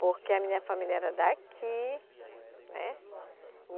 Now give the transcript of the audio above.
Porque a minha família era daqui, né?